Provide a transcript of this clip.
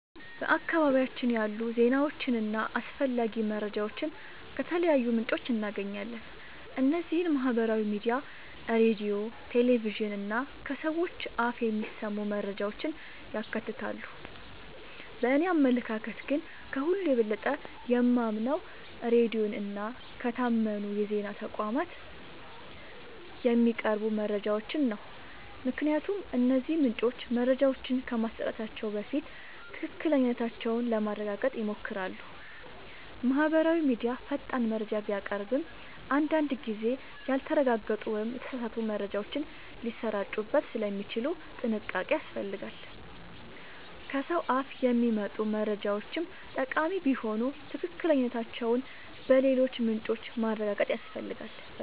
በአካባቢያችን ያሉ ዜናዎችንና አስፈላጊ መረጃዎችን ከተለያዩ ምንጮች እናገኛለን። እነዚህም ማህበራዊ ሚዲያ፣ ሬዲዮ፣ ቴሌቪዥን እና ከሰዎች አፍ የሚሰሙ መረጃዎችን ያካትታሉ። በእኔ አመለካከት ግን፣ ከሁሉ የበለጠ የማምነው ሬዲዮን እና ከታመኑ የዜና ተቋማት የሚቀርቡ መረጃዎችን ነው። ምክንያቱም እነዚህ ምንጮች መረጃዎችን ከማሰራጨታቸው በፊት ትክክለኛነታቸውን ለማረጋገጥ ይሞክራሉ። ማህበራዊ ሚዲያ ፈጣን መረጃ ቢያቀርብም፣ አንዳንድ ጊዜ ያልተረጋገጡ ወይም የተሳሳቱ መረጃዎች ሊሰራጩበት ስለሚችሉ ጥንቃቄ ያስፈልጋል። ከሰው አፍ የሚመጡ መረጃዎችም ጠቃሚ ቢሆኑ ትክክለኛነታቸውን በሌሎች ምንጮች ማረጋገጥ ያስፈልጋል።